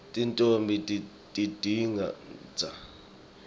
tintfombi tigidza elilawini